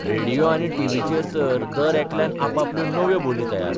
radio आनी टीव्हीचेर तर दरेकल्यान आपापल्यो 'नव्यो बोली 'तयार